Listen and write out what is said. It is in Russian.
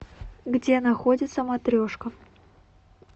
где находится матрешка